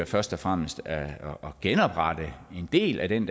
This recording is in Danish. først og fremmest er at genoprette en del af den